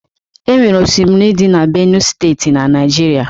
Enwere osimiri dị na Benue Steeti na Naịjirịa.